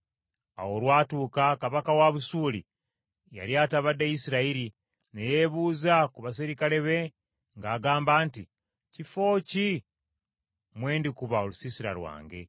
Awo olwatuuka kabaka wa Busuuli yali atabadde Isirayiri, ne yeebuza ku baserikale be ng’agamba nti, “Kifo ki mwe ndikuba olusiisira lwange?”